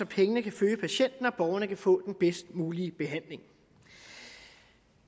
pengene kan følge patienten og borgerne kan få den bedst mulige behandling